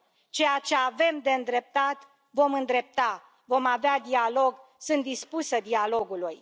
Ceea ce avem de îndreptat, vom îndrepta, vom avea dialog, sunt dispusă dialogului.